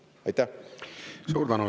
Suur tänu!